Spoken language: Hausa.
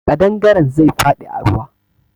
Kaɗangare zai faɗi a ruwa.